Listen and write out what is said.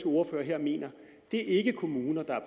ordfører her mener det er ikke kommuner der er